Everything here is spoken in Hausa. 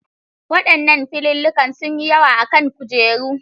Waɗannan filillikan sunyi yawa a kan kujerun